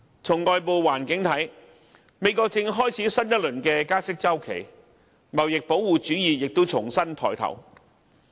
從外部環境來看，美國正開始新一輪加息周期，貿易保護主義亦重新抬頭。